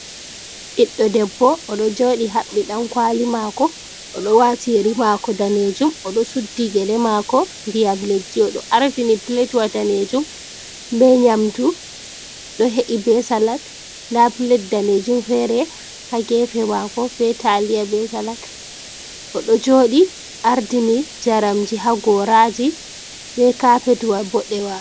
Ɓiɗdo debbo o ɗo joɗi haɓɓi dakwali mako, oɗo wati riga mako danejum, oɗo suddi gele mako ndiyam leddi, oɗo ardini platwa danejum be nyamdu ɗo he’i be salat, nda plet danejum fere ha gefe mako be taliya, be salat, o ɗo joɗi ardini jaramji ha goraji be kapetwa boɗewa.